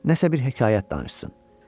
Nəsa bir hekayət danışsın.